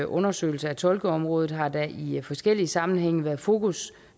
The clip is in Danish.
undersøgelse af tolkeområdet har der i i forskellige sammenhænge været fokus